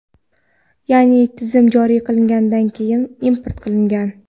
ya’ni Tizim joriy qilingandan keyin import qilingan.